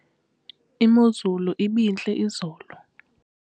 imozulu ibintle izolo